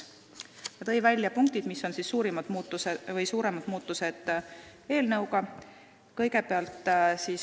Ta tõi välja eelnõus ettenähtud suuremad muudatused.